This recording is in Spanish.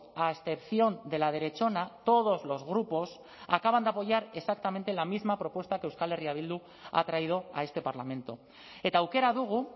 a excepción de la derechona todos los grupos acaban de apoyar exactamente la misma propuesta que euskal herria bildu ha traído a este parlamento eta aukera dugu